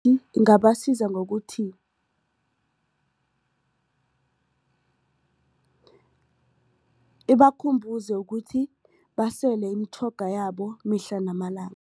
Ingabasiza ngokuthi ibakhumbuze ukuthi basele imitjhoga yabo mihla namalanga.